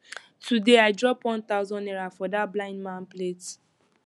today i drop one thousand naira for dat blind man plate